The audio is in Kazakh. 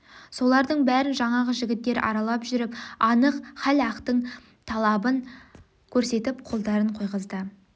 солардың бәрін жаңағы жігіттер аралап жүріп анық хал ықтың талабын көрсетіп қолдарын қойғызды